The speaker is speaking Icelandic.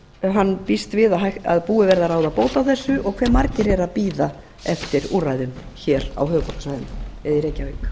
hann býst við að búið verði að ráða bót á þessu og hve margir eru að bíða eftir úrræðum á höfuðborgarsvæðinu eða í reykjavík